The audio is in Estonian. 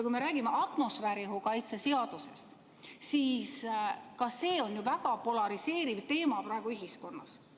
Kui me räägime atmosfääriõhu kaitse seadusest, siis ka see on ju väga polariseeriv teema praegu ühiskonnas.